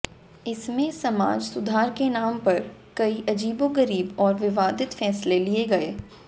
इसमें समाज सुधार के नाम पर कई अजीबोगरीब और विवादित फैसले लिए गए